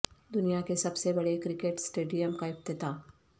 دنیا کے سب سے بڑے کرکٹ اسٹیڈیم کا افتتاح